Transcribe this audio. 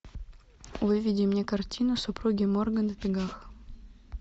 выведи мне картину супруги морган в бегах